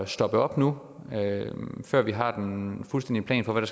stoppe op nu før vi har den fuldstændige plan for hvad